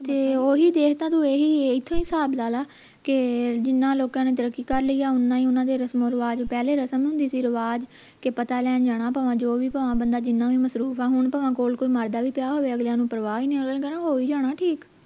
ਕੇ ਓਹੀ ਦੇਖ ਖਾਂ ਕੇ ਤੂੰ ਓਹੀ ਇਥੋਂ ਹੀ ਹਿਸਾਬ ਲਾ ਲਾ ਕੇ ਜਿੰਨਾ ਲੋਕਾਂ ਨੇ ਤਰੱਕੀ ਕਰ ਲਈ ਆ ਓੰਨਾ ਹੀ ਓਹਨਾ ਦੇ ਰਸਮ ਰਿਵਾਜ ਪਹਿਲੇ ਰਸਮ ਹੁੰਦੀ ਸੀ ਰਿਵਾਜ ਕੇ ਪਤਾ ਲੈਣ ਜਾਣਾ ਭਵਾਂ ਜੋ ਵੀ ਬੰਦਾ ਭਲਾਂ ਜਿੰਨਾ ਵੀ ਕੋਈ ਕੋਈ ਮਰਦਾ ਵੀ ਪਿਆ ਹੋਵੇ ਅਗਲੀਆਂ ਨੂੰ ਪਰਵਾਹ ਨਹੀਂ ਓਹਨਾ ਨੇ ਕਹਿਣਾ ਹੋ ਹੀ ਜਾਣੇ ਠੀਕ